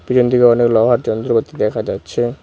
পিছন দিকে অনেক লোহার যন্ত্রপাতি দেখা যাচ্ছে।